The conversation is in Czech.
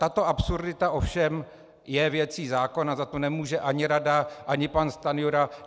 Tato absurdita ovšem je věcí zákona, za to nemůže ani rada ani pan Stanjura.